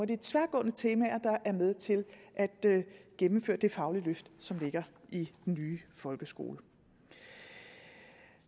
de tværgående temaer der er med til at gennemføre det faglige løft som ligger i den nye folkeskole